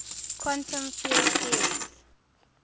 quantum field theories